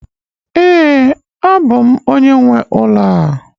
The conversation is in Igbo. Ee, abụ m onye nwe ụlọ a